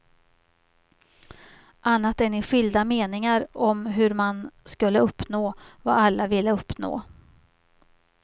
Annat än i skilda meningar om hur man skulle uppnå vad alla ville uppnå.